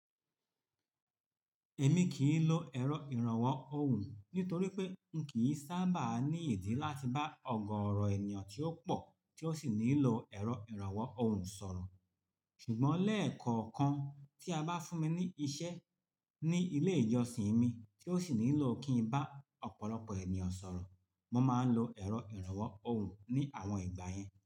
Èmi kì í lo ẹ̀rọ ìrànwọ́ ohùn nítorí pé n kì í sábà ní ìdí láti bá ọ̀gọọ̀ọ̀rọ̀ ènìyàn tí ó pò, tí ó sì nílò ẹ̀rọ ìrànwọ́ ohùn sọ̀rọ̀. Ṣùgbọ́n lẹ́ẹ̀kọ̀ọ̀kan tí a bá fún mi ní iṣẹ́ ní ilé ìjọsìn mi tí ó sì nílò kí n bá ọ̀pọ̀lọpọ̀ ènìyàn sọ̀rọ̀, mo máa ń lo ẹ̀rọ ìrànwọ́ ohùn ní àwọn ìgbà yẹn.